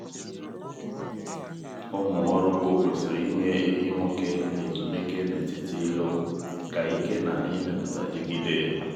ụmụ ọrụ ugbo kwesịrị inye ehi nwoke ezumike n’etiti ịlụ ka ike na imepụta dịgide.